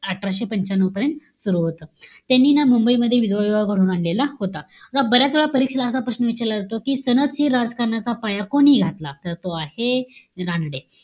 अठराशे पंच्यान्नव पर्यंत, सुरु होतं. त्यांनी ना मुंबईमध्ये विधवा विवाह घडवून आणलेला होता. आता बऱ्याच वेळा परीक्षेला असा प्रश्न विचारला जातो कि, राजकारणाचा पाया कोणी घातला? तर तो आहे, रानडे.